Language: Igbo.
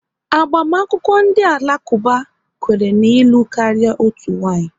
Agbamakwụkwọ ndị Alakuba, kwere na ịlụ karịa otu nwaanyị